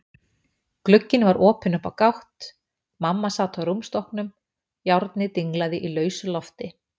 Glugginn var opinn upp á gátt, mamma sat á rúmstokknum, járnið dinglaði í lausu lofti.